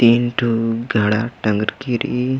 तीन ठू घड़ा टंगरकी रइई।